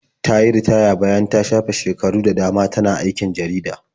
Ta yi ritaya bayan shafe shekaru da dama tana aikin jarida.